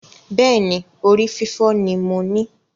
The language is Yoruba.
Bẹ́ẹ̀ni, orí fífọ́ ni mo ní